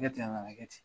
Kɛ ten a nana kɛ ten